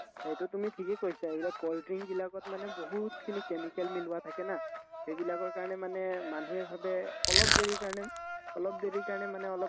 সেইটো তুমি ঠিকে কৈছা এইবিলাক cold drink বিলাকত মানে বহুতখিনি chemical মিলোৱা থাকে না সেইবিলাকৰ কাৰণে মানে মানুহে ভাবে অলপ দেৰিৰ কাৰণে অলপ দেৰিৰ কাৰণে মানে অলপ